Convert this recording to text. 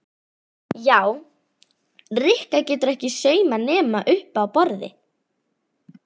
Já, Rikka getur ekki saumað nema uppi á borði